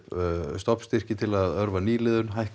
stofnstyrki til að örva nýliðun hækkað